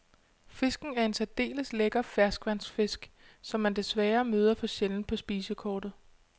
Fisken er en særdeles lækker ferskvandsfisk, som man desværre møder for sjældent på spisekortet.